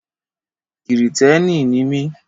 Kìrìtẹ́ẹ́nì ni mí.